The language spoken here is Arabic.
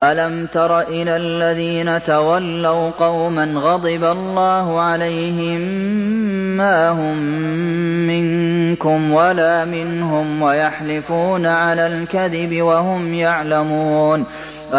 ۞ أَلَمْ تَرَ إِلَى الَّذِينَ تَوَلَّوْا قَوْمًا غَضِبَ اللَّهُ عَلَيْهِم مَّا هُم مِّنكُمْ وَلَا مِنْهُمْ وَيَحْلِفُونَ عَلَى الْكَذِبِ وَهُمْ يَعْلَمُونَ